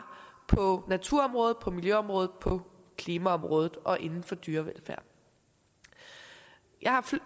på naturområdet på miljøområdet på klimaområdet og inden for dyrevelfærd jeg har